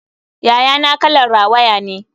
Yayana kalar rawaya ne.